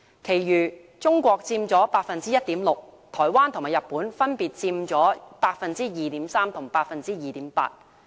其餘中國佔 1.6%， 台灣和日本分別佔 2.3% 和 2.8%。